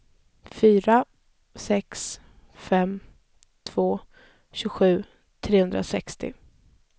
fyra sex fem två tjugosju trehundrasextio